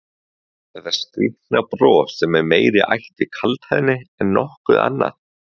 Þetta skrýtna bros sem er meira í ætt við kaldhæðni en nokkuð annað?